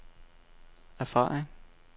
erfaring